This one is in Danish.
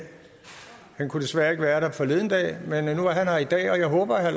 han kunne desværre ikke være der forleden dag men nu er han her i dag og jeg håber at